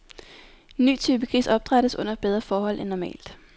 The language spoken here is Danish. Ny type gris opdrættes under bedre forhold end normalt.